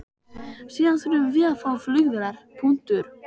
Síðan þurfum við að fá flugvélar.